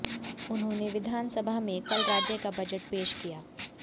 उन्होंने विधान सभा में कल राज्य का बजट पेश किया